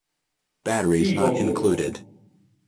Figo bomo!